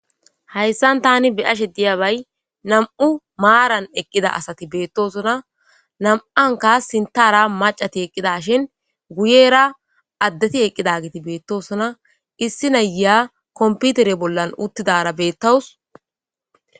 Hayssan tani beyashe diyabay nam'u maaran eqqida asati beettosona, nam'anka sintara macati eqqida shin guyera addeti eqqida giti beettosona , issi naya komputere bollan uttidara beettawus.